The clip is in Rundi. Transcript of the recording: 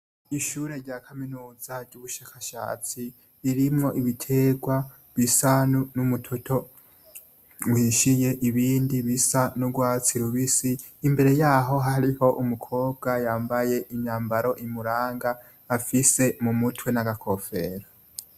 Ishure rya kaminuza rubushakashatsi ririmwo ibitegwa bisa numutoto uhishiye ibindi bisa n'urwatsi rubisi imbere yaho hariho umukobwa yambaye imyambaro imugaranga afise mumutwe nagakofero.